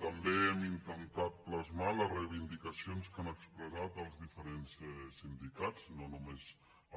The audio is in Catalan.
també hem intentat plasmar les reivindicacions que han expressat els diferents sindicats no només